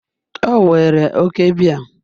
O were oke biya